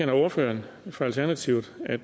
ordføreren for alternativet at